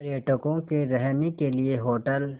पर्यटकों के रहने के लिए होटल